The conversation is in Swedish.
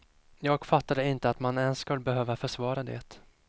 Jag fattar inte att man ens skall behöva försvara det.